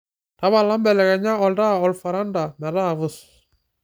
tapala mbelekenya oltaa olfaranta metaa pus